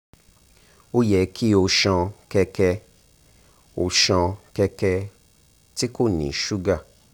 o yẹ ki o ṣan kẹkẹ o ṣan kẹkẹ ti ko ni suga